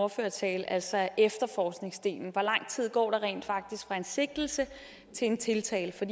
ordførertale altså efterforskningsdelen hvor lang tid går der rent faktisk fra en sigtelse til en tiltale for